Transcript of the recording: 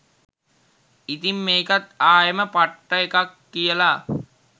ඉතින් මේකත් ආයෙම පට්ට එකක් කියලා